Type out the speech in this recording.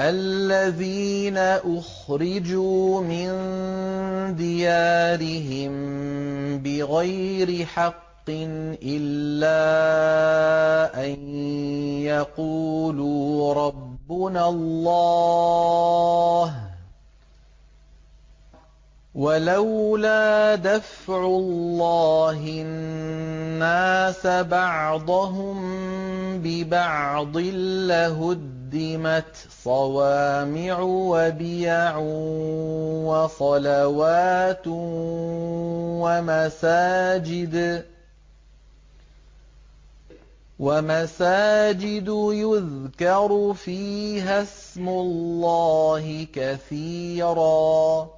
الَّذِينَ أُخْرِجُوا مِن دِيَارِهِم بِغَيْرِ حَقٍّ إِلَّا أَن يَقُولُوا رَبُّنَا اللَّهُ ۗ وَلَوْلَا دَفْعُ اللَّهِ النَّاسَ بَعْضَهُم بِبَعْضٍ لَّهُدِّمَتْ صَوَامِعُ وَبِيَعٌ وَصَلَوَاتٌ وَمَسَاجِدُ يُذْكَرُ فِيهَا اسْمُ اللَّهِ كَثِيرًا ۗ